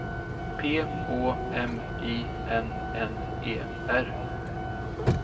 P Å M I N N E R